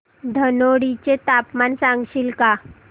धनोडी चे तापमान सांगशील का